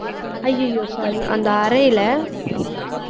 அய்யய்யோ sorry அந்த அறையிலே